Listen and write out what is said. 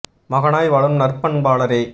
மகானாய் வாழும் நற்பண் பாளரே